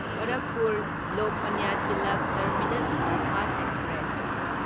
Gorakhpur Lokmanya Tilak terminus superfast express